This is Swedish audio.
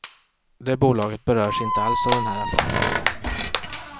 Det bolaget berörs inte alls av den här affären.